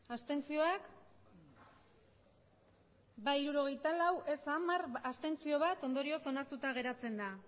abstenzioak emandako botoak hirurogeita hamabost bai hirurogeita lau ez hamar abstentzioak bat ondorioz onartuta geratzen da